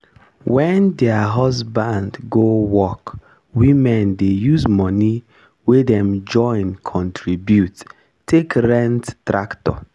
wen their husband go work women dey use moni wey dem join contribute take rent tractor.